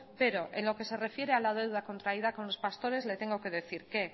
pero en lo que se refiere a la deuda contraída con los pastores le tengo que decir que